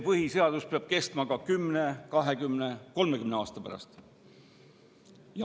Põhiseadus peab kestma ka 10, 20 ja 30 aasta pärast.